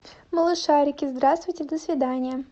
малышарики здравствуйте до свидания